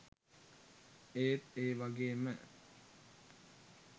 ඒත් ඒ වගේම